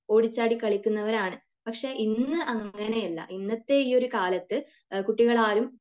ഓടിച്ചാടി കളിക്കുന്നവരാണ് പക്ഷെ , ഇന്ന് അങ്ങനെയല്ല ഇന്നത്തെ ഈ ഒരു കാലത്തു കുട്ടികളാരും